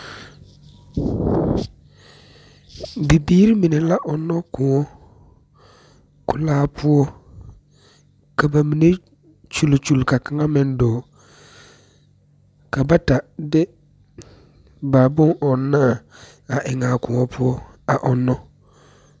Bibiiri meni la ɔŋnɔ koɔ kulaa poɔ kaba meni kyulkyul ka kaŋa meŋ dɔɔ ka bata de a bonɔŋni eŋ a koɔ poɔ ɔŋnɔ